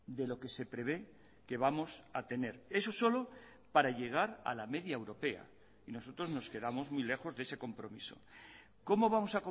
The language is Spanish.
de lo que se prevé que vamos a tener eso solo para llegar a la media europea y nosotros nos quedamos muy lejos de ese compromiso cómo vamos